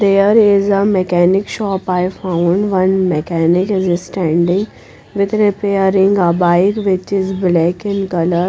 there is a mechanic shop i found one mechanic is standing with repairing a bike which is black in colour.